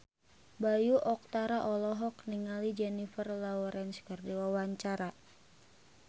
Bayu Octara olohok ningali Jennifer Lawrence keur diwawancara